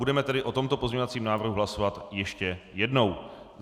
Budeme tedy o tomto pozměňovacím návrhu hlasovat ještě jednou.